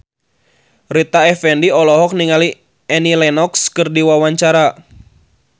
Rita Effendy olohok ningali Annie Lenox keur diwawancara